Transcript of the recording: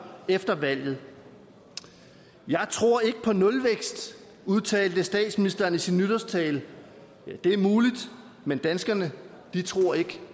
efter valget jeg tror ikke på nulvækst udtalte statsministeren i sin nytårstale det er muligt men danskerne tror ikke